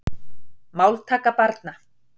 Máltaka barna.